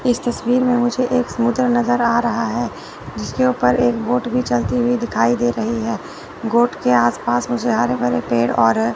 इस तस्वीर में मुझे एक समुंदर नजर आ रहा है जिसके ऊपर एक बोट भी चलती हुई दिखाई दे रही है गोट के आस पास मुझे हरे भरे पेड़ और--